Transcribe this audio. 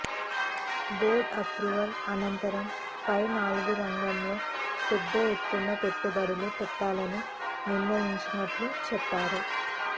board approval అనంతరం పై నాలుగు రంగాల్లో పెద్ద ఎత్తున పెట్టుబడులు పెట్టాలని నిర్ణయించినట్లు చెప్పారు